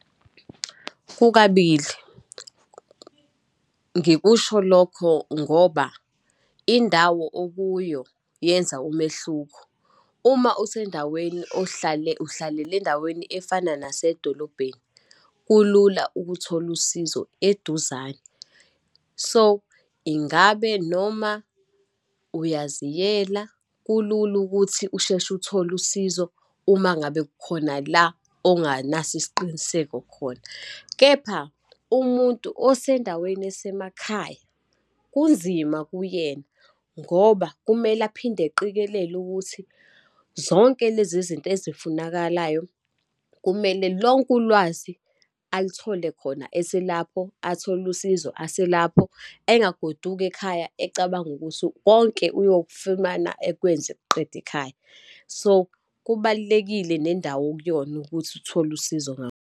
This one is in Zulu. Kukabili, ngikusho lokho ngoba indawo okuyo yenza umehluko. Uma usendaweni ohlale, uhlalela endaweni efana nasedolobheni, kulula ukuthola usizo eduzane. So, ingabe noma uyaziyela kulula ukuthi usheshe uthole usizo uma ngabe khona la onganaso isiqiniseko khona. Kepha umuntu osendaweni esemakhaya kunzima kuyena, ngoba kumele aphinde eqikelele ukuthi zonke lezi zinto ezifunakalayo, kumele lonke ulwazi alithole khona eselapho, athole usizo aselapho, engagodukanga ekhaya, ecabanga ukuthi konke uyokufumana, akwenze ek'qede ekhaya. So, kubalulekile nendawo okuyona ukuthi uthole usizo .